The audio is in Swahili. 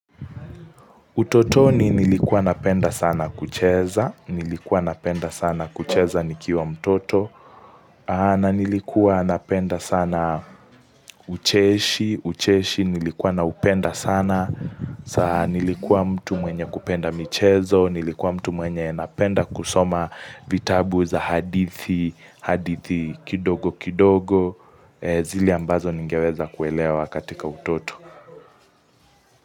Utotoni nilikuwa napenda sana kucheza, nilikuwa napenda sana kucheza nikiwa mtoto, na nilikuwa napenda sana ucheshi, ucheshi nilikuwa naupenda sana, nilikuwa mtu mwenye kupenda michezo, nilikuwa mtu mwenye napenda kusoma vitabu za hadithi, hadithi kidogo kidogo, zile ambazo ningeweza kuelewa katika utoto.